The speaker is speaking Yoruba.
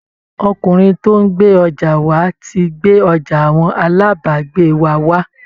Ọkùnrin tó ń gbé ọjà wà á ti gbé ọjà àwọn alábàágbé wa wá